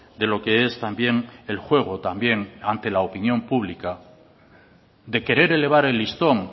de lo que es también el juego también ante la opinión pública de querer elevar el listón